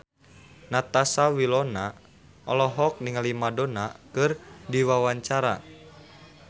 Natasha Wilona olohok ningali Madonna keur diwawancara